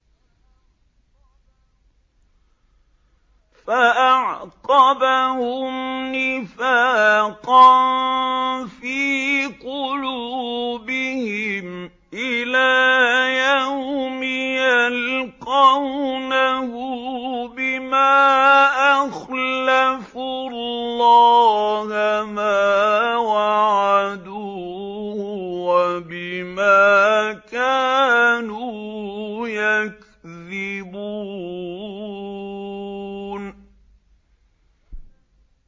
فَأَعْقَبَهُمْ نِفَاقًا فِي قُلُوبِهِمْ إِلَىٰ يَوْمِ يَلْقَوْنَهُ بِمَا أَخْلَفُوا اللَّهَ مَا وَعَدُوهُ وَبِمَا كَانُوا يَكْذِبُونَ